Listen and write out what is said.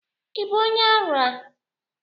Ị bụ onye ara?